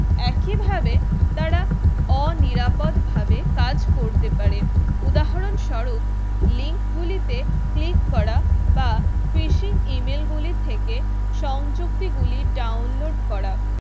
একইভাবে তারা অনিরাপদ ভাবে কাজ করতে পারে উদাহরণস্বরূপ link গুলিতে click করা বা Fishing Email গুলি থেকে সংযুক্তি গুলি download করা